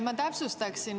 Ma täpsustaksin.